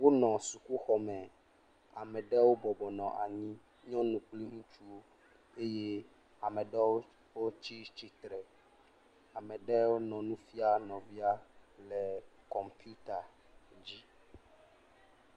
Wonɔ sukuxɔme. Ame ɖewo bɔbɔ nɔ anyi. Nyɔnu kpli ŋutsuwo eye ame ɖewo wotsi tsitre. Ame ɖe nɔ nu fia nɔvia le kɔmpiuta dzi.